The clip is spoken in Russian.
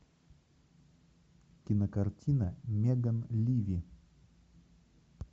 кинокартина меган ливи